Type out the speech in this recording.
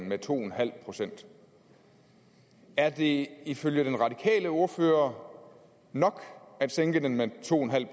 med to en halv procent er det ifølge den radikale ordfører nok at sænke den med to en halv